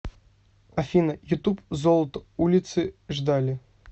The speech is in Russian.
афина ютуб золото улицы ждали